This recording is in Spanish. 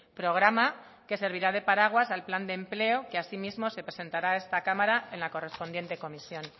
programa que servirá de paraguas al plan de empleo que asimismo se presentará a esta cámara en la correspondiente comisión